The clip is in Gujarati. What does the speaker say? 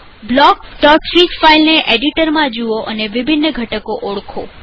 બ્લોકફીગ ફાઈલને એડિટરમાં જુઓ અને વિભિન્ન ઘટકોને ઓળખો